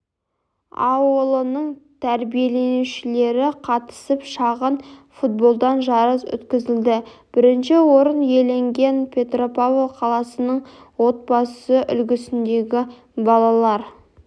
ауылының тәрбиеленушілері қатысып шағын футболдан жарыс өткізілді бірінші орын иеленген петропавл қаласының отбасы үлгісіндегі балалар